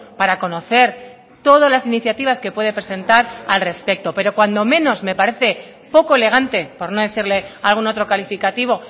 para conocer todas las iniciativas que puede presentar al respecto pero cuando menos me parece poco elegante por no decirle algún otro calificativo